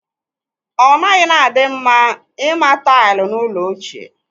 Ọ naghị na-adị mma ịma taịlụ n'ụlọ ochie.